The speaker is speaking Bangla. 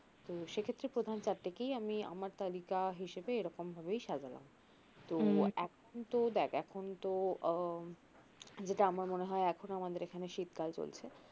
তো সে ক্ষেত্রে প্রথম চারটাকেই আমি আমার প্রথম তালিকা হিসাবে এরকম ভাবেই সাজালাম তো এখন তো দেখ এখন তো আহ যেটা আমার মনে হয় এখনও আমাদের এখানে শীতকাল চলছে